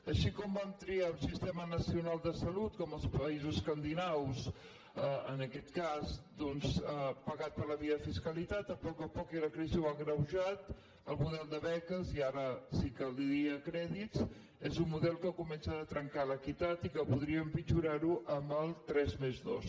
així com vam triar un sistema nacional de salut com els països escandinaus en aquest cas doncs pagat per la via de fiscalitat a poc a poc i la crisi ho ha agreujat el model de beques i ara sí que li diria a crèdit és un model que comença a trencar l’equitat i que podria empitjorar ho amb el tres+dos